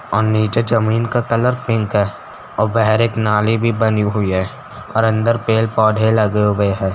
और जमीन का कलर पिंक है और बाहर एक नाली भी बनी हुई है और अंदर पेल पौधे लगे हुए हैं।